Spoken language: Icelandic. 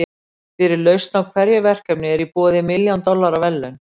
fyrir lausn á hverju verkefni eru í boði milljón dollara verðlaun